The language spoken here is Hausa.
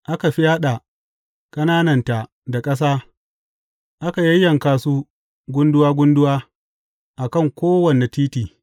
Aka fyaɗa ƙanananta da ƙasa aka yayyanka su gunduwa gunduwa a kan kowane titi.